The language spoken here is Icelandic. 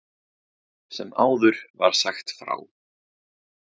Sem áður var sagt frá.